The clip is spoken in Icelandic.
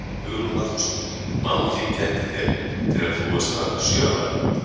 Hugrún Halldórsdóttir: Mamma þín kenndi þér, þegar þú varst hvað sjö ára?